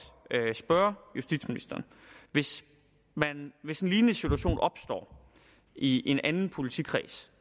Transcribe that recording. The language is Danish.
spørge justitsministeren hvis hvis en lignende situation opstår i en anden politikreds